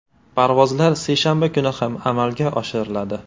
Parvozlar seshanba kuni ham amalga oshiriladi.